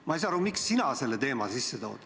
Ma ei saa aru, miks sina selle teema sisse tood.